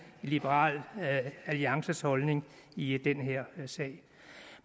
i liberal alliances holdning i den her sag